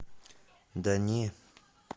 да не